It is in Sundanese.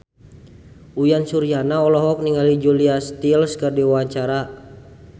Uyan Suryana olohok ningali Julia Stiles keur diwawancara